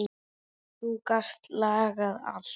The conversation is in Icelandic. Þú gast lagað allt.